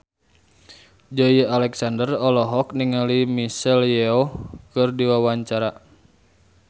Joey Alexander olohok ningali Michelle Yeoh keur diwawancara